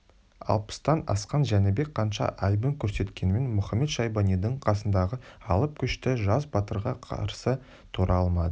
алпыстан асқан жәнібек қанша айбын көрсеткенімен мұхамед-шайбанидың қасындағы алып күшті жас батырға қарсы тұра алмады